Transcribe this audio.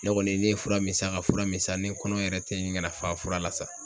Ne kɔni ne ye fura mi san ,ka fura mi san . Ni n kɔnɔ yɛrɛ te ɲini kana fa fura la sa.